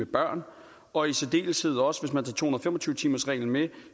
børn og i særdeleshed også hvis man tager to hundrede og fem og tyve timersreglen med